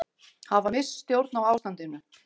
Hafa misst stjórn á ástandinu